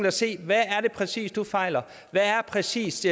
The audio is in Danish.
og se på hvad er det præcis du fejler hvad er præcis